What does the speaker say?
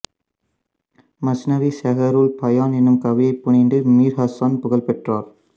மஸ்னவி செஹ்ரூல் பயான் என்னும் கவிதை புனைந்து மீர் ஹசன் புகழ் பெற்றார்